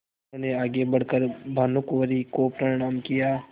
उन्होंने आगे बढ़ कर भानुकुँवरि को प्रणाम किया